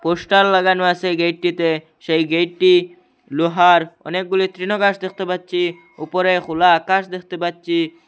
Poster লাগানো আছে গেটটিতে সেই গেটটি লোহার অনেকগুলি তৃণঘাস দেখতে পাচ্ছি উপরে খোলা আকাশ দেখতে পাচ্ছি।